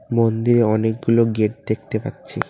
মন্দিয়ে অনেকগুলো গেট দেখতে পাচ্ছি।